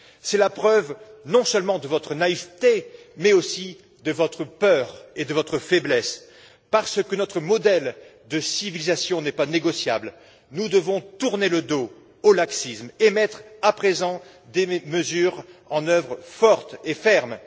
C'est la preuve, non seulement, de votre naïveté mais aussi de votre peur et de votre faiblesse parce que notre modèle de civilisation n'est pas négociable. Nous devons tourner le dos au laxisme et mettre aujourd'hui en œuvre des mesures fortes et fermes.